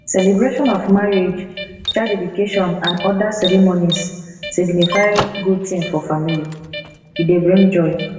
celebration of marriage child deedication and oda ceremonies signify good thing for family e dey bring joy